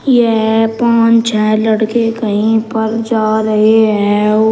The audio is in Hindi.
यह पांच छह लड़के कहीं पर जा रहे हैं।